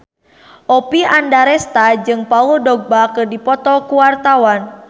Oppie Andaresta jeung Paul Dogba keur dipoto ku wartawan